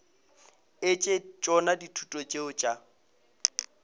etse tšona dithuto tšeo tša